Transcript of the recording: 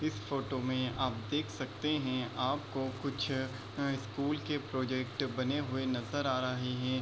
इस फोटो में आप देख सकते हैं आपको कुछ अ स्कूल के प्रोजेक्ट बने हुए नजर आ रहे हैं।